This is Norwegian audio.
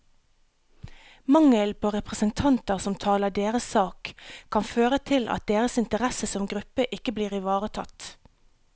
Mangelen på representanter som taler deres sak, kan føre til at deres interesser som gruppe ikke blir ivaretatt.